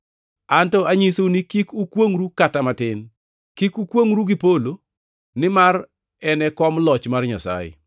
Anto anyisou ni kik ukwongʼru kata matin: Kik ukwongʼru gi polo nimar en e kom loch mar Nyasaye;